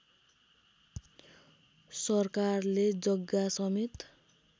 सरकारले जग्गा समेत